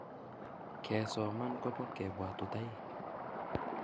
kesoman kopo kepwatutaik